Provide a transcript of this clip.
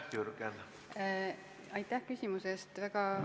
Aitäh küsimuse eest!